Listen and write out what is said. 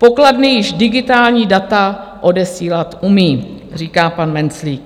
Pokladny již digitální data odesílat umějí, říká pan Menclík.